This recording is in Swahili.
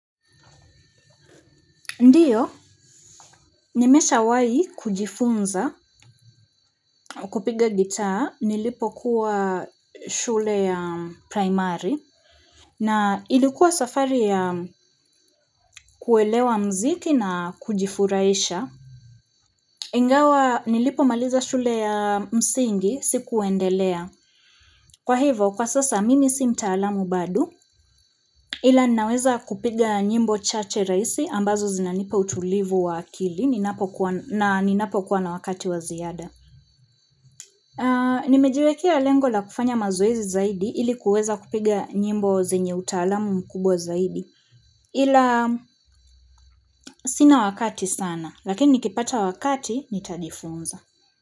Ndiyo nimesha wai kujifunza kupiga gitaa nilipo kuwa shule ya primary na ilikuwa safari ya kuelewa mziki na kujifurahisha ingawa nilipo maliza shule ya msingi sikuendelea kwa hivyo kwa sasa mimi si mtaalamu bado ila ninaweza kupiga nyimbo chache rahisi ambazo zinanipa utulivu wa akili na ninapo kuwa na wakati wa ziada Nimejiwekea lengo la kufanya mazoezi zaidi ilikuweza kupiga nyimbo zenye utaalamu mkubwa zaidi ila sina wakati sana lakini nikipata wakati nitajifunza.